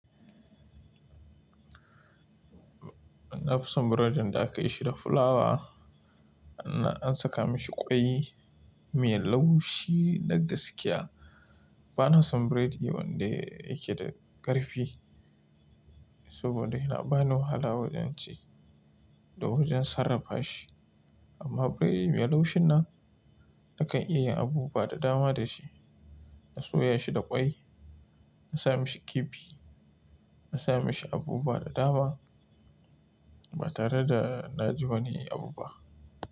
Na fi son burodin da aka yi shi da fulawa, an saka mashi ƙwai mai laushi da gaskiya. Bana son berdi wanda yake da ƙarfi saboda yana bani wahala wajen ci da wajen sarrafa shi. Amma berdin mai laushin nan nakan iya yin abu buwa da dama da shi. Na soya shi da ƙwai, na sa mashi kifi, na sa mashi abu buwa da dama ba tare da na ji wani abu ba.